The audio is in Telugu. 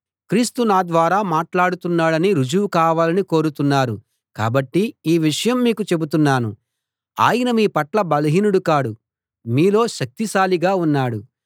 క్రీస్తు నా ద్వారా మాట్లాడుతున్నాడని రుజువు కావాలని కోరుతున్నారు కాబట్టి ఈ విషయం మీకు చెబుతున్నాను ఆయన మీ పట్ల బలహీనుడు కాడు మీలో శక్తిశాలిగా ఉన్నాడు